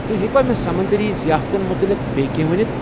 تُہۍ ہیٚکوا مےٚ سمندٔرِی ضیافتن متعلِق بییٚہِ کینٛہہ ؤنِتھ؟